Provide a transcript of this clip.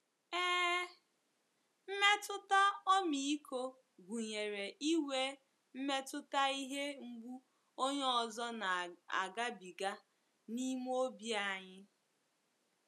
Ee, mmetụta ọmịiko gụnyere inwe mmetụta ihe mgbu onye ọzọ na - agabiga n'ime obi anyi.